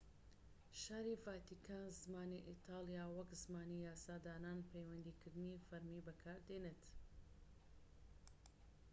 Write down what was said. شاری ڤاتیکان زمانی ئیتالی وەک زمانی یاسادانان و پەیوەندیکردنی فەرمی بەکاردێنێت